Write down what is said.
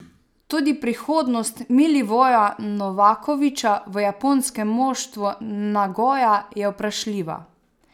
Tudi prihodnost Milivoja Novakovića v japonskem moštvu Nagoja je vprašljiva.